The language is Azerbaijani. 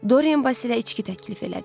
Doryan Vasilə içki təklif elədi.